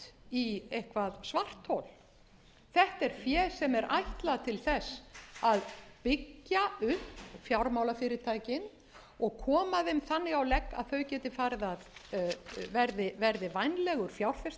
í eitthvert svarthol þetta er fé sem er ætlað til þess að byggja upp fjármálafyrirtækin og koma þeim þannig á legg að þau verði vænlegur